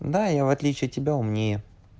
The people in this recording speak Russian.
да я в отличие от тебя умнее